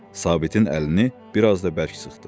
Sabitin əlini bir az da bərk sıxdı.